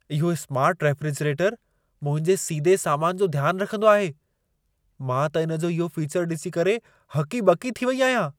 इहो smart refrigerator मुंहिंजे सीदे सामान जो ध्यान रखंदो आहे। मां त इन जो इहो फीचर ॾिसी करे हकी-ॿकी थी वई आहियां।